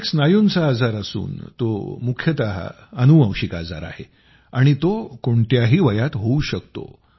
हा एक स्नायुंचा आजार असून तो मुख्यतः अनुवंशिक आजार आहे आणि तो कोणत्याही वयात होऊ शकतो